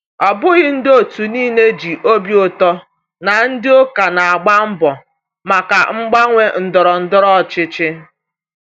Ọ bụghị ndị otu niile ji obi ụtọ na ndị ụka na-agba mbọ maka mgbanwe ndọrọ ndọrọ ọchịchị.